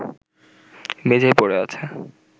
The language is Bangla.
মেঝেয় পড়ে আছে